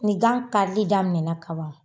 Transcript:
Ni gan karili daminɛ na kaban